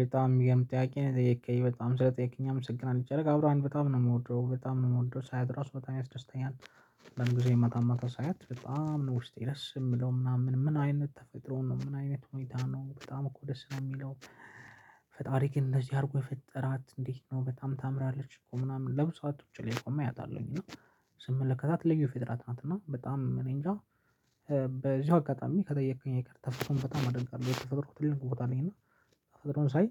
በጣም የሚገርም ጥያቄ ነው። የጠየቅከኝ በጣም ስለጠየቅከኝ አመሰግናለሁ። ጨረቃ ብረሃን በጣም ነው ምወደው! በጣም ነው የምወደው! ሳያት ራሱ በጣም ያስደስተኛል። አንዳንድ ጊዜ ማታማታ ሳያት በጣም ነው ውስጤ ደስ የሚለው ምናምን ምን አይነት ተፈጥሮ ነው ምን አይነት ሁኔታ ነው በጣም እኮ ደስ ነው የሚለው። ፈጣሪ ግን እንደዚህ አድርጎ የፈጠራት እንዴት ነው። በጣም ታምራለች። እኮ ምናምን ለብዙ ሰዓት ቁጭ ብዬ አያታለሁ ስመለከታት ልዩ ፍጥረት ናት እና በጣም እኔንጃ በዚሁ አጋጣሚ ከጠየከኝ አይቀርም ትፈጥሮን በጣም አደንቃለሁ ለተፈጠሮ ትልቅ ቦታ አለኝ እና ተፈጥሮን ሳይ